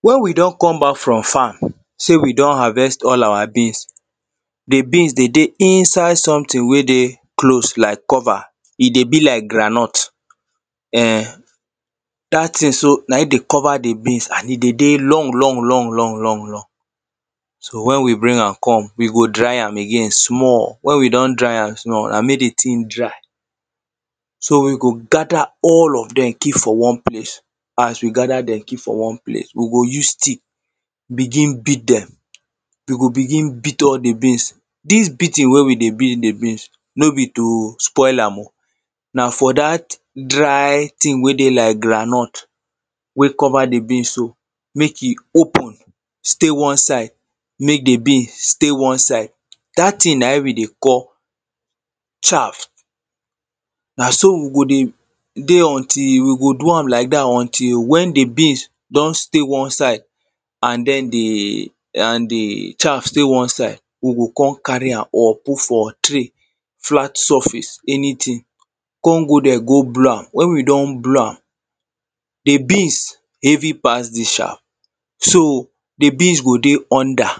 when we don come back from farm say we don harvest all our beans the beans dey dey inside something wey dey close like cover e dey be like groundnut um that thing so na im dey cover the beans and e dey dey long long long long long long so when we bring am come we go dry am again small when we don dry am small and make the thing dry so we go gather all of them keep for one place as we gather them keep for one place we go use stick begin beat them we go begin beat all the beans this beating wey we dey beat the beans no be to spoil am o na for that dry thing wey dey like groundnut wey cover the beans so make e open stay one side make the beans stay one side that thing na im we dey call shaft na so we go dey dey until we go do am like that until when the beans don stay one side and then the and the shaft dey one side we go kon carry up put for tray flat surface anything kon go there go blow am when we don blow am the beans heavy pass the shaft so the beans go dey under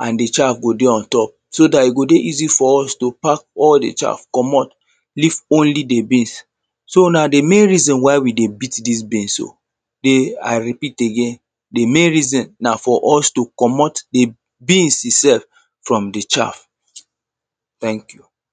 and the shaft go dey ontop so that e go dey easy for us to pack all the shaft commot leave only the beans so na the main reason why we dey beat this beans o the i repeat again the main reason na for us to commot the beans itself from the shaft thank you